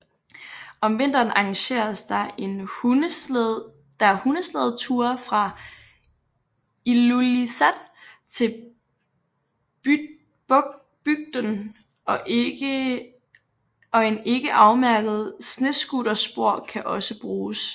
Om vinteren arrangeres der hundeslædeture fra Ilulissat til bygden og en ikke afmærket snescooterspor kan også bruges